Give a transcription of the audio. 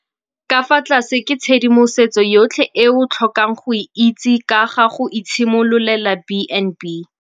Fa tlase ke tshedimosetso yotlhe e o tlhokang go e itse ka ga go itshimololela B and B.